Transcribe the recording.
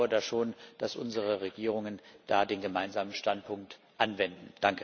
Ich vertraue da schon darauf, dass unsere Regierungen da den gemeinsamen Standpunkt anwenden.